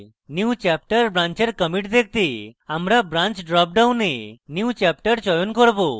newchapter branch এর commits দেখতে আমরা branch drop ডাউনে newchapter চয়ন করব